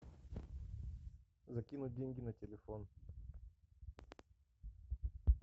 закинуть деньги на телефон